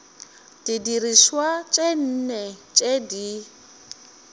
didirišwa tše nne tše di